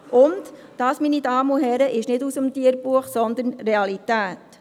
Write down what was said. Dies, meine Damen und Herren, ist nicht aus dem Tierbuch, sondern Realität.